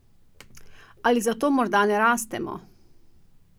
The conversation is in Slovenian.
Ali zato morda ne rastemo?